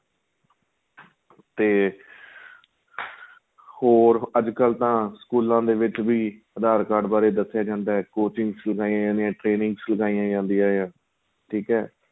ਤੇ ਹੋਰ ਅੱਜ ਕੱਲ ਤਾਂ ਸਕੂਲਾਂ ਦੇ ਵਿੱਚ ਵੀ aadhar card ਦੱਸਿਆ ਜਾਂਦਾ ਏ coaching s ਲਗਾਈਆਂ ਜਾਂਦੀ ਏ training ਚ ਲਗਾਈਆਂ ਜਾਂਦੀਆਂ ਆਂ ਠੀਕ ਏ